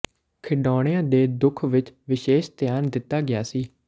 ਖਿਡੌਣਿਆਂ ਦੇ ਦੁੱਖ ਵਿਚ ਵਿਸ਼ੇਸ਼ ਧਿਆਨ ਦਿੱਤਾ ਗਿਆ ਸੀ